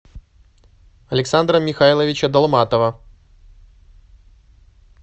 александра михайловича долматова